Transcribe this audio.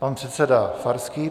Pan předseda Farský.